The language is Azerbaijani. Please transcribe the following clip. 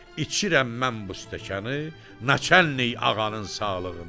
İçirəm mən bu stəkanı naçəlnik ağanın sağlığına.